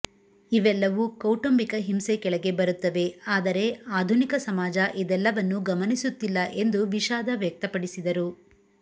ಇವೆಲ್ಲವೂ ಕೌಟುಂಬಿಕ ಹಿಂಸೆ ಕೆಳಗೆ ಬರುತ್ತವೆ ಆದರೆ ಆಧುನಿಕ ಸಮಾಜ ಇದೆಲ್ಲವನ್ನು ಗಮನಿಸುತ್ತಿಲ್ಲ ಎಂದು ವಿಷಾಧ ವ್ಯಕ್ತಪಡಿಸಿದರು